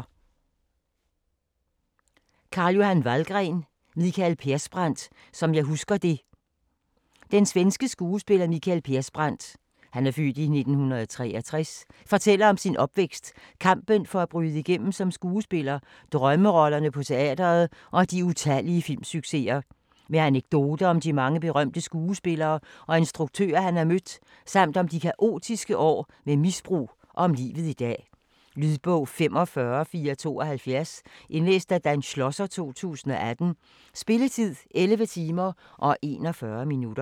Vallgren, Carl-Johan: Mikael Persbrandt - som jeg husker det Den svenske skuespiller Mikael Persbrandt (f. 1963) fortæller om sin opvækst, kampen for at bryde igennem som skuespiller, drømmerollerne på teatret og de utallige filmsucceser. Med anekdoter om de mange berømte skuespillere og instruktører han har mødt, samt om de kaotiske år med misbrug og om livet i dag. Lydbog 45472 Indlæst af Dan Schlosser, 2018. Spilletid: 11 timer, 41 minutter.